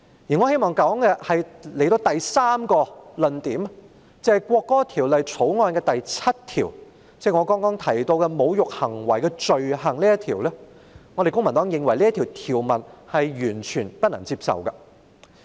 我希望說的第三個論點，是關於《條例草案》第7條，即是我剛才提到的"侮辱行為的罪行"，公民黨認為，這項條文是完全不能接受的。